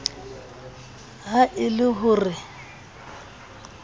ha e le ho re